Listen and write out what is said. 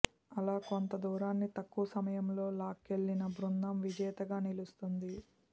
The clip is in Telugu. అలా కొంత దూరాన్ని తక్కువ సమయంలో లాక్కెళ్లిన బృందం విజేతగా నిలుస్తుంది